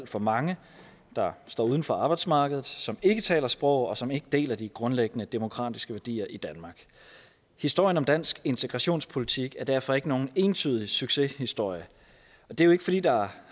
for mange der står uden for arbejdsmarkedet som ikke taler sproget og som ikke deler de grundlæggende demokratiske værdier i danmark historien om dansk integrationspolitik er derfor ikke nogen entydig succeshistorie det er jo ikke fordi der